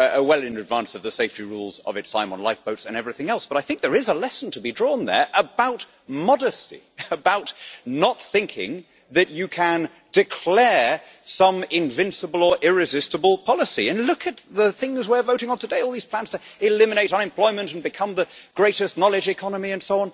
advance of the safety rules of its time on lifeboats and everything else, but I think there is a lesson to be drawn there about modesty, and about not thinking that you can declare some invincible or irresistible policy. Look at the things we are voting on today all these plans to eliminate unemployment and become the greatest knowledge economy, and so on.